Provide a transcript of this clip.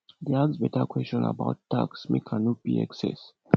dey ask beta question about tax make i no pay excess